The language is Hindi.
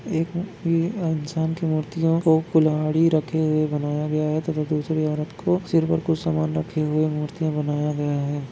एक ये अंसन की मूर्तियों को कुल्हाड़ी रखे हुए बनाय गया है तथा दूसरी औरत को सिर मे कुछ समान रखे हुए मूर्ति बनाया गया है।